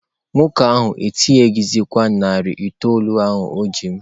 Nwoke ahụ atụkwasịghị narị itoolu o ji m.